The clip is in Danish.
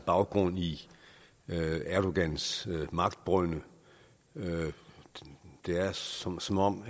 baggrund i erdogans magtbrynde det er som som om